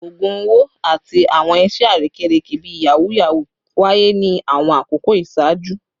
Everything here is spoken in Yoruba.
Ogun owo ati awọn iṣe arekereke bii yahoo yahoo waye ni awọn akoko iṣaaju